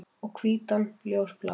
Og hvítan ljósblá.